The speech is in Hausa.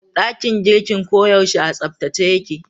Dakin girkin ko yaushe a tsabtace yake